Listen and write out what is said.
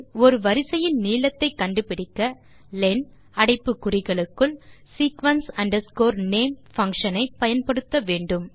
ஒரு வரிசையின் நீளத்தை கண்டு பிடிக்க லென் அடைப்பு குறிகளுக்குள் sequence name பங்ஷன் ஐ பயன்படுத்த வேண்டும்